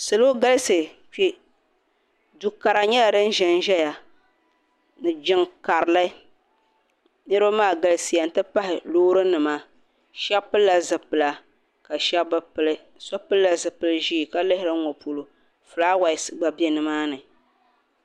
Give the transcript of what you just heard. Salɔ galisi kpe. dukara nyala din ʒanʒaya, ni jiŋ karili. niribi maa galisiya n pahi lɔɔri nima. shabi pilila zipila, kashabi bɛ pili. so pilila zipiliʒɛɛ ka lihiri n ŋɔ pɔlɔ. fulaawaase gba be nimaani.